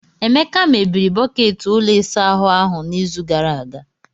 Emeka mebiri bọket ụlọ ịsa ahụ ahụ n'izu gara aga.